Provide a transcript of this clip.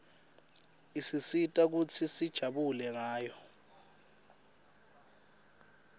isisita kutsi sijabule ngayo